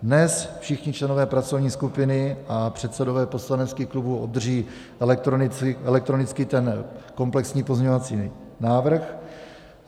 Dnes všichni členové pracovní skupiny a předsedové poslaneckých klubů obdrží elektronicky ten komplexní pozměňovací návrh.